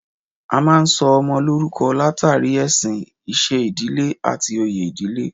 A máa ń sọ ọmọ lórúko látàrí ẹ̀sìn, iṣẹ́ ìdílé, àti oyè ìdílé